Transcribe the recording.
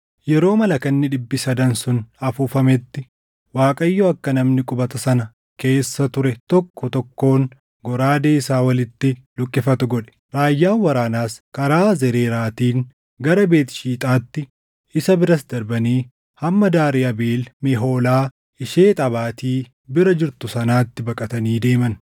Yeroo malakanni dhibbi sadan sun afuufametti Waaqayyo akka namni qubata sana keessa ture tokko tokkoon goraadee isaa walitti luqqifatu godhe; raayyaan waraanaas karaa Zereeraatiin gara Beet Shiixaatti, isa biras darbanii hamma daarii Abeel Mehoolaa ishee Xabaati bira jirtu sanaatti baqatanii deeman.